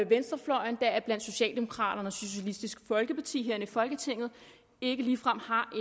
venstrefløjen deriblandt socialdemokraterne og socialistisk folkeparti herinde i folketinget ikke ligefrem har